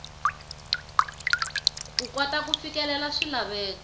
ku kota ku fikelela swilaveko